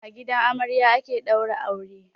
A gidan amarya ake daura aure.